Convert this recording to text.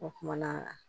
O kumana